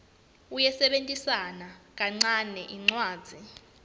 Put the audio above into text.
uyisebentisa kancane incwadzi